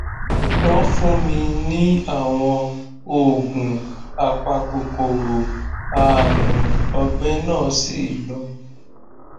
wọn fún mi ní àwọn oògùn apakòkòrò ààrùn ọgbẹ náà sì lọ